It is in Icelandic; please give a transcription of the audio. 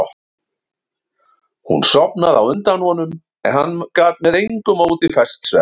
Hún sofnaði á undan honum en hann gat með engu móti fest svefn.